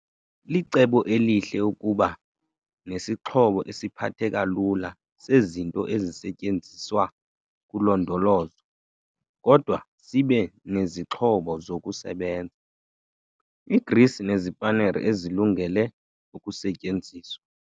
Licebo elihle ukuba nesingxobo esiphatheka lula sezinto ezisetyenziswa kulondolozo kodwa sibe nezixhobo zokusebenza, igrisi nezipanere ezilungele ukusetyenziswa.